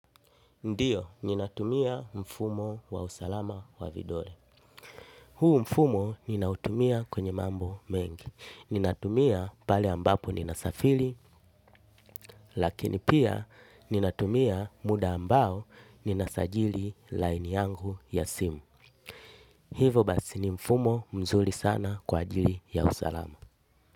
Ndiyo, ninatumia mfumo wa usalama wa vidole. Huu mfumo ninautumia kwenye mambo mengi. Ninatumia pale ambapo ninasafili, lakini pia ninatumia muda ambao ninasajili line yangu ya simu. Hivo basi ni mfumo mzuri sana kwa ajili ya usalama.